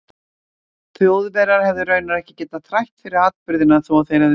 Þjóðverjar hefðu raunar ekki getað þrætt fyrir atburðina þó að þeir hefðu viljað.